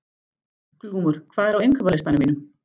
Glúmur, hvað er á innkaupalistanum mínum?